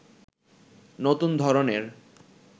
নতুন ধরনের